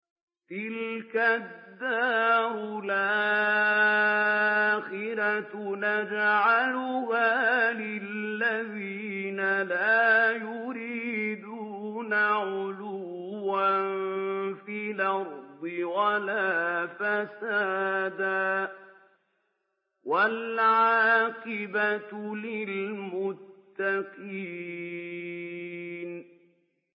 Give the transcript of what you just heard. تِلْكَ الدَّارُ الْآخِرَةُ نَجْعَلُهَا لِلَّذِينَ لَا يُرِيدُونَ عُلُوًّا فِي الْأَرْضِ وَلَا فَسَادًا ۚ وَالْعَاقِبَةُ لِلْمُتَّقِينَ